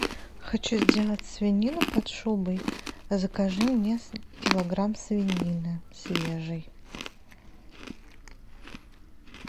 хочу сделать свинину под шубой закажи мне килограмм свинины свежей